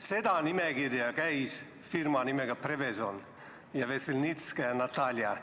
Selle nimekirja asjus käisid firma nimega Prevezon ja Natalja Vesselnitskaja